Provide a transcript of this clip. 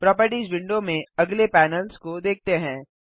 properties window में अगले panels को देखते हैं